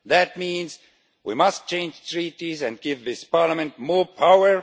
That means we must change the Treaties and give this Parliament more power.